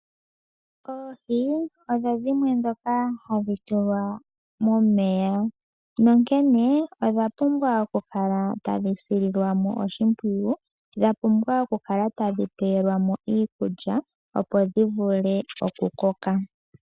Oohi odho dhimwe dhoka dmhadhi tulwa momeya nonkenkene odha pumbwa okukala tadhi sililwamo oshimpwiyu dha pumbwa okukala tadhi pewelwa mo iikulya opo dhi vule oku koka.